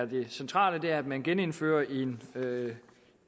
det centrale er jo at man genindfører en